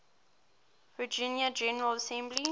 virginia general assembly